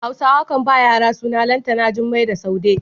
Hausawa kan ba wa yara suna Lantana, Jummai da Saude.